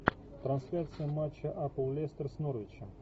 трансляция матча апл лестер с норвичем